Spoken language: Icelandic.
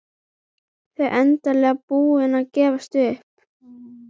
Þau endanlega búin að gefast upp.